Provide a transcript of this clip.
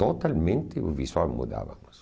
Totalmente o visual mudávamos.